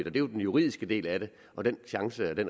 er jo den juridiske del af det og den